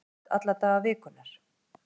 Æfir stíft alla daga vikunnar